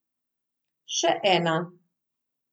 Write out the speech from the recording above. Še ena.